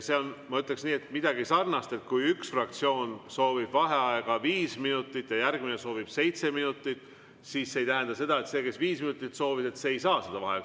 See on, ma ütleksin nii, midagi sarnast, kui üks fraktsioon soovib vaheaega viis minutit ja järgmine soovib seitse minutit, siis see ei tähenda seda, et see, kes viis minutit soovis, ei saa vaheaega.